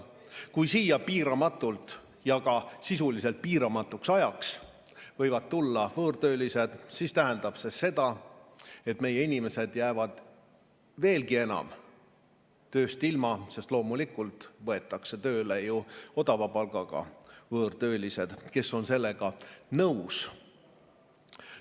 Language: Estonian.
Kui siia piiramatult ja sisuliselt piiramatuks ajaks võivad tulla võõrtöölised, siis tähendab see seda, et meie inimesed jäävad veelgi enam tööst ilma, sest loomulikult võetakse tööle odava palgaga võõrtöölised, kes on sellega nõus.